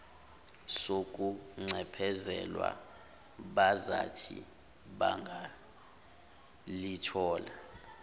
sokuncephezelwa bazathi bangalithola